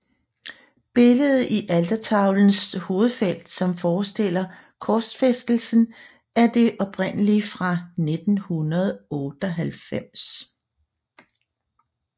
Billedet i altertavelens hovedfelt som forestiller korsfæstelsen er det oprindelige fra 1598